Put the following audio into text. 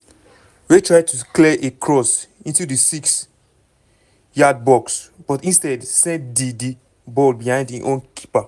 wey try to clear a cross into di six-yard box but instead send di di ball behind im own keeper.